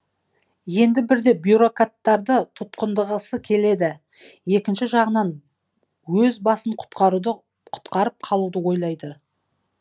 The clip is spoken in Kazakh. енді бірде тұтқындағысы келеді екінші жағынан өз басын құтқарып қалуды ойлайды